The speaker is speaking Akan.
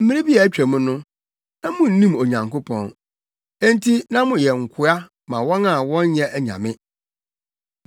Mmere bi a atwam no, na munnim Onyankopɔn, enti na moyɛ nkoa ma wɔn a wɔnyɛ anyame.